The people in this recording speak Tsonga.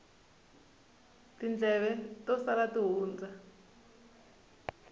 tindleve to sala ti hundza